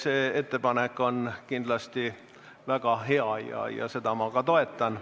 See ettepanek on kindlasti väga hea ja seda ma ka toetan.